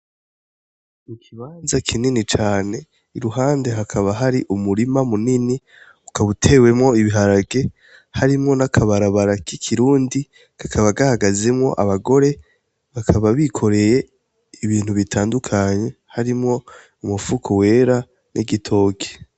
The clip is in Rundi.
Ikibanza kinini cane i ruhande hakaba hari umurima munini, ukaba utewemwo ibiharage harimwo n‘ akabarabara k‘ ikirundi kakaba kahagazemwo abagore bakaba bikoreye ibintu bitandukanye harimwo umufuko wera n‘ igitoke .